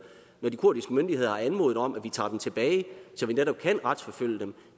når de kurdiske myndigheder har anmodet om at vi tager dem tilbage så vi netop kan retsforfølge dem